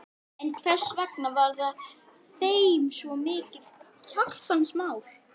En hversvegna var það þeim svo mikið hjartans mál?